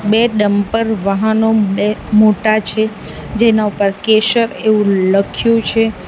બે ડંપર વાહનો બે મોટા છે જેના ઉપર કેશર એવું લખ્યું છે.